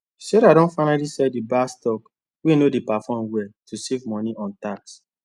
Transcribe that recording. sarah don finally sell the bad stocks wey no dey perform well to save money on tax